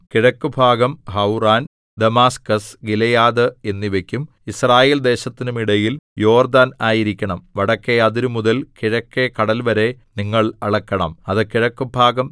കിഴക്ക് ഭാഗം Hauran Damascus Gilead എന്നിവയ്ക്കും യിസ്രായേൽദേശത്തിനും ഇടയിൽ യോർദ്ദാൻ ആയിരിക്കണം വടക്കെ അതിരുമുതൽ കിഴക്കെ കടൽവരെ നിങ്ങൾ അളക്കണം അത് കിഴക്കുഭാഗം